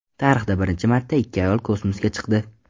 Tarixda birinchi marta ikki ayol kosmosga chiqdi.